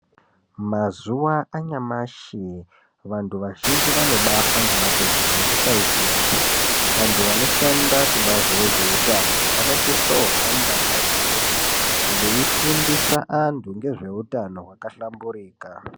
Mazuwanyashi vantu vazhinji vanobafa ngematenda nekusaiziya , vantu vanoshanda kubazi rezveutano vanosiso hamba ndau dzeshe veifundisa vantu ngezveutano hwakahlamburika.